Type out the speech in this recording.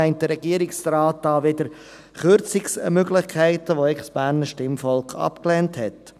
Meint der Regierungsrat da wieder Kürzungsmöglichkeiten, die das Berner Stimmvolk eigentlich abgelehnt hat?